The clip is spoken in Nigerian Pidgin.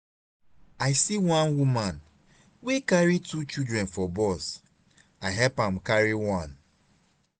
i see one woman wey carry two children for bus i help am carry one.